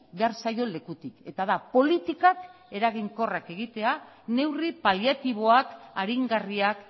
behar zaion lekutik eta da politikak eraginkorrak egitea neurri paliatiboak aringarriak